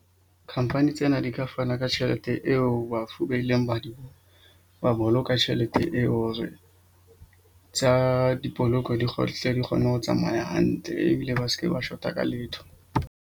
Khamphani tsena di ka fana ka tjhelete eo bafu ba ileng ba di ba boloka tjhelete eo. Hore tsa dipoloko di di kgone ho tsamaya hantle ebile ba ske ba shota ka letho.